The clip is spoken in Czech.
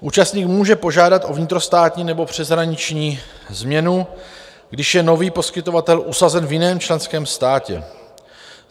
Účastník může požádat o vnitrostátní nebo přeshraniční změnu, když je nový poskytovatel usazen v jiném členském státě.